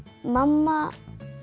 mamma